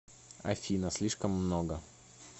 афина слишком много